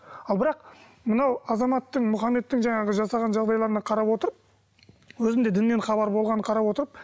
ал бірақ мынау азаматтың мұхаммедтің жаңағы жасаған жағдайларына қарап отырып өзінде діннен хабар болғанын қарап отырып